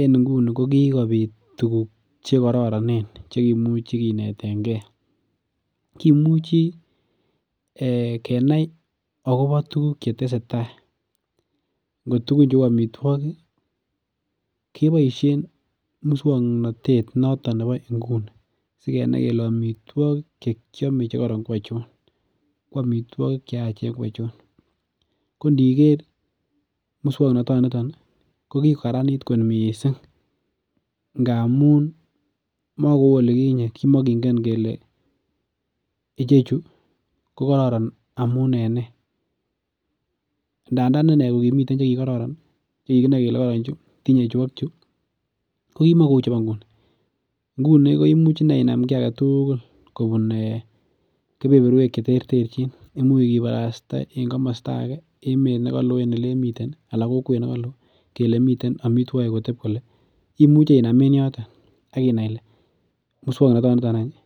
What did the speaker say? en nguni ko kikobit tuguk chekororonen chekimuch kinetengee kimuchi kenai akobo tuguk chetesetaa ngo tugun cheu amitwogik keboisien muswongnotet noton nebo nguni sikenai kele amitwogik chekoron ko achon ko amitwogik cheyachen ko achon ko ndiker muswongnoton niton ih ko kikararanit kot missing ngamun makou olikinyet kimokingen kele ichechu ko kororon amun en nee ndandan inee kokimiten chekikororon ko kikinoe kele kororon ih tinye chu ak chu ko kimou chubo nguni, nguni koimuch inam kiy aketugul kobun kebeberwek cheterterchin imuch kibarasta en komosta ake emet nekaloo en elemiten ih ana kokwet nekoloo kele miten amitwogik kotep kole imuche inam en yoton akinai ile muswongnoton niton any ih